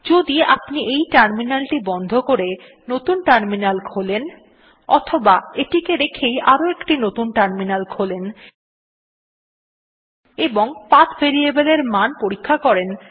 যদি আপনি এই টার্মিনালটি বন্ধ করে নতুন টার্মিনাল খোলেন অথবা এটিকে রেখেই আরো একটি নতুন টার্মিনাল খোলেন এবং পাথ ভেরিয়েবল এর মান পরীক্ষা করেন